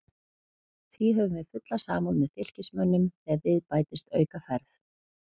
Því höfum við fulla samúð með Fylkismönnum þegar við bætist aukaferð.